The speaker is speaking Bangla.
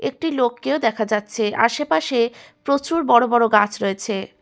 একটি লোককেও দেখা যাচ্ছে আশেপাশে প্রচুর বড় বড় গাছ রয়েছে ।